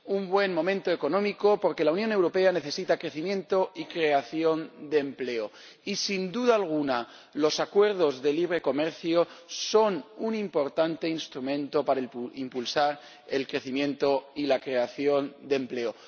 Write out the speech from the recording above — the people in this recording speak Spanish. Un buen momento económico porque la Unión Europea necesita crecimiento y creación de empleo y, sin duda alguna, los acuerdos de libre comercio son un importante instrumento para impulsar el crecimiento y la creación de empleo